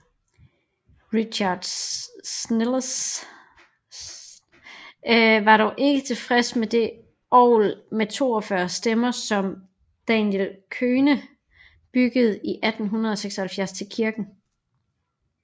Richard Sennels var dog ikke tilfreds med det orgel med 42 stemmer som Daniel Köhne byggede i 1876 til kirken